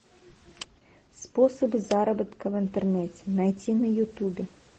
способы заработка в интернете найти на ютубе